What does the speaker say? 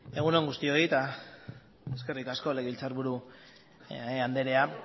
egun on guztioi eta eskerrik asko legebiltzarburu anderea